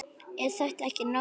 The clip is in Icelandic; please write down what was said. Er þetta ekki nóg?